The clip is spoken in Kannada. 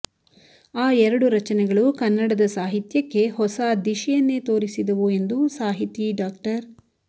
ಆ ಎರಡು ರಚನೆಗಳು ಕನ್ನಡದ ಸಾಹಿತ್ಯಕ್ಕೆ ಹೊಸ ದಿಶೆಯನ್ನೇ ತೋರಿಸಿದವು ಎಂದು ಸಾಹಿತಿ ಡಾ